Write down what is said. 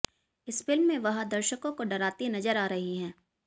इस फिल्म में वह दर्शकों को डराती नजर आ रही हैं